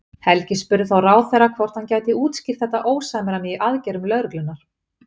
Helgi spurði þá ráðherra hvort hann gæti skýrt þetta ósamræmi í aðgerðum lögreglunnar?